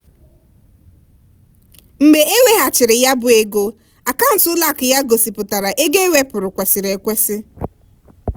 "mgbe e weghachiri ya bụ ego akaụntụ ụlọakụ ya gosipụtara ego ewepụrụ kwesịrị ekwesị"